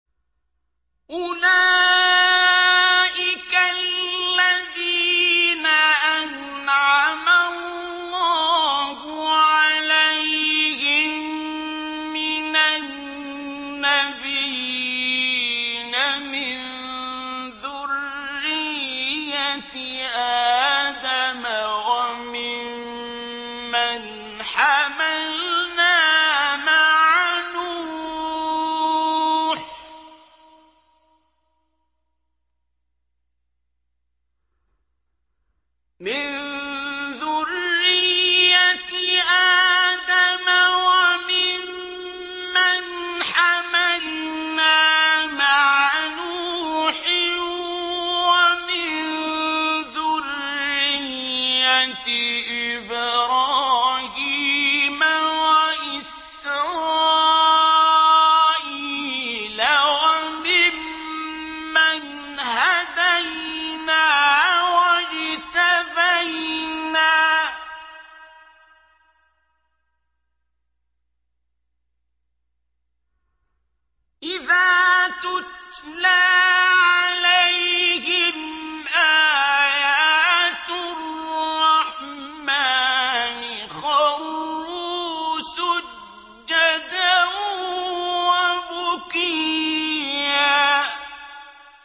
أُولَٰئِكَ الَّذِينَ أَنْعَمَ اللَّهُ عَلَيْهِم مِّنَ النَّبِيِّينَ مِن ذُرِّيَّةِ آدَمَ وَمِمَّنْ حَمَلْنَا مَعَ نُوحٍ وَمِن ذُرِّيَّةِ إِبْرَاهِيمَ وَإِسْرَائِيلَ وَمِمَّنْ هَدَيْنَا وَاجْتَبَيْنَا ۚ إِذَا تُتْلَىٰ عَلَيْهِمْ آيَاتُ الرَّحْمَٰنِ خَرُّوا سُجَّدًا وَبُكِيًّا ۩